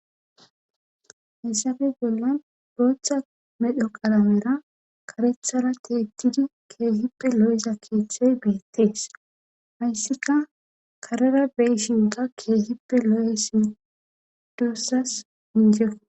Hayssappe bollan booththa medho qalamera kareththara keehippe loiza keeththay beetees. hayssikka karera be'ishinkka keehipe lo'ees duusas inje.